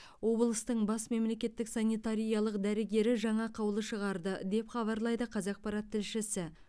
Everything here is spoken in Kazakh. облыстың бас мемлекеттік санитариялық дәрігері жаңа қаулы шығарды деп хабарлайды қазақпарат тілшісі